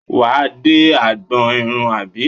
Wà á dé agbọn irun àbí?